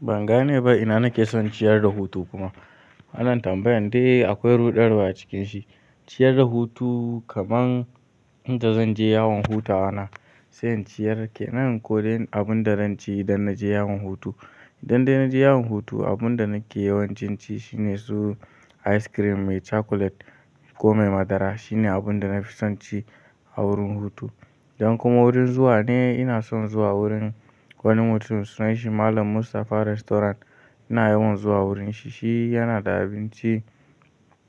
Ban gane ba ina nake son ciyar da hutu kuma. Anan tambayan dai akwai ruɗarwa a cikin shi. Ciyar da hutu kaman inda zan je yawon hutawana sai in ciyar kenan ko abun da zan ci idan naje yawon hutu. Idan dai naje yawon hutu abun da nake yawancin ci shine su ice cream mai chocolate ko mai madara shine abun da nafi son ci a wurin hutu. Dan kuma wurin zuwa ne ina son zuwa wurin wani mutum sunan shi Malam Mustafa Restaurant. Ina yawan zuwa wurin shi, shi yana da abinci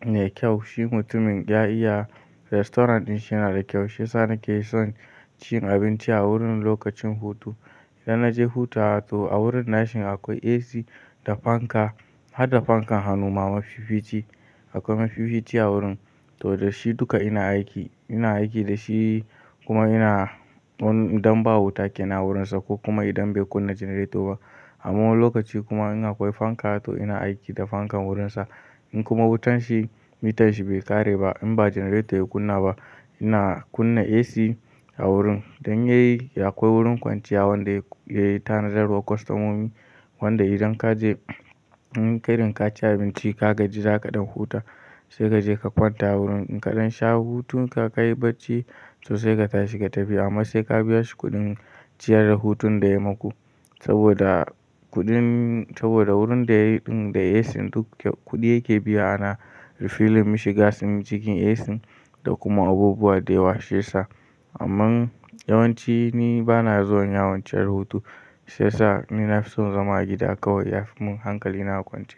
mai kyau. Shi mutumin ya iya restaurant din shi yana da kyau shiyasa nake son cin abinci a wurin lokacin hutu. Idan naje hutawa toh a wurin nashi akwai AC da fanka, har da fankan hannu ma mafi fiice akwai mafi fiice a wurin. Toh da shi duka ina aiki, ina aiki da shi kuma ina wani idan ba wuta ke nan wurinsa ko kuma idan bai kunna generator ba. A wani lokaci kuma in akwai fanka toh ina aiki da fankan wurinsa. In kuma wutan shi mitan shi bai ƙare ba in ba generator ya kunna ba ina kunna AC a wurin. Dan yayi akwai wurin kwanciya wanda yayi tanajarwa kwastamomi wanda idan kaje inka irin kaci abinci ka gaji zaka ɗan huta sai kaje ka kwanta a wurin. Idan ka sha hutun ka, ka yi barci toh sai ka tashi ka tafi amma sai ka biya shi kuɗin ciyar da hutun da yayi maku. Saboda kuɗin saboda wurin da yayi ɗin da AC duk kuɗi yake biya ana refilling mishi gas in cikin AC da kuma abubuwa da ya washe sa. Amman yawanci ni bana zuwan yawon ciyar hutu shiyasa ni nafi son zama a gida kawai ya fi mun hankali na kwance.